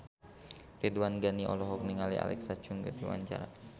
Ridwan Ghani olohok ningali Alexa Chung keur diwawancara